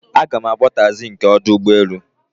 Aga m akpọ taịzi nke ọdụ ụgbọelu